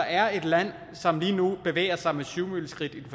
er et land som lige nu bevæger sig med syvmileskridt i